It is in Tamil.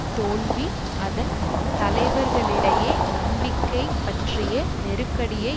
தோல்வி அதன் தலைவர்களிடையே நம்பிக்கை பற்றிய நெருக்கடியை